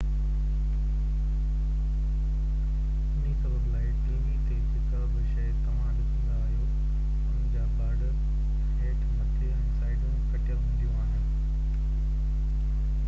انهي سبب لاءِ ٽي وي تي جيڪا به شيءِ توهان ڏسندا آهيو ان جا بارڊر هيٺ مٿي ۽ سائيڊون ڪٽيل هونديون آهن